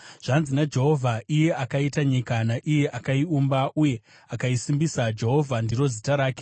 “Zvanzi naJehovha, iye akaita nyika, naiye akaiumba uye akaisimbisa, Jehovha ndiro zita rake,